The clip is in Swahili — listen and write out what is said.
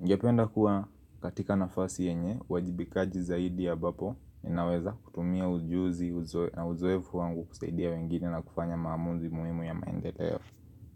Ningependa kuwa katika nafasi yenye, uwajibikaji zaidi ambapo ninaweza kutumia ujuzi na uzoefu wangu kusaidia wengine na kufanya maamuzi muhimu ya maendeleo yao.